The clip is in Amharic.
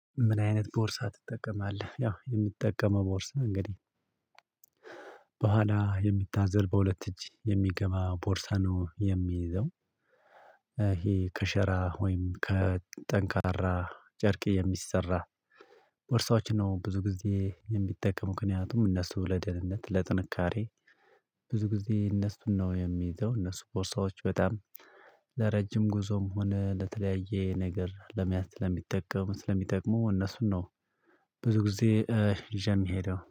ምን አይነት ቦርሳ ትጠቀማለህ? ያው የምጠቀመው ቦርስ እንግዲህ በኋላ የሚታዘል በሁለት እጅ የሚገባ ቦርሳ ነው የሚይዘው። ይሄ ከሸራ ወይም ከጠንካራ ጨርቅ የሚሰራ ቦርሳዎችን ነው ብዙ ጊዜ የምጠቀም። ምክንያቱም እነሱ ለደህንነት ለጥንካሬ ብዙ ጊዜ እነሱ ነው የሚይዘው። እነሱ ቦርሳዎች በጣም ለረጅም ጉዞም ሆነ ለተለያየ ነገር ለመያዝ ለሚጠቀሙ ስለሚጠቅሙ እነሱን ነው ብዙ ጊዜ ይዤ የሚሄደው።